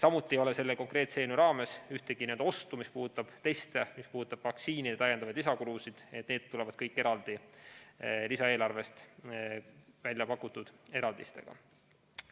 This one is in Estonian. Samuti ei ole selle konkreetse eelnõu raames ühtegi n‑ö ostu, mis puudutaks teste ja vaktsiinide lisakulusid, need tulevad kõik lisaeelarvest, eraldi väljapakutud eraldistega.